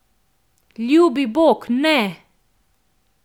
Ljubi Bog, ne!